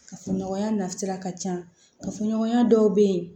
Kafoɲɔgɔnya nasira ka ca kafoɲɔgɔnya dɔw bɛ yen